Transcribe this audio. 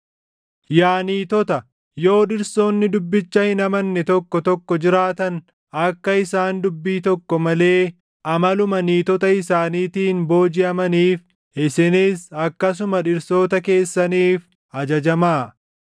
Yaa niitota, yoo dhirsoonni dubbicha hin amanne tokko tokko jiraatan akka isaan dubbii tokko malee amaluma niitota isaaniitiin boojiʼamaniif isinis akkasuma dhirsoota keessaniif ajajamaa;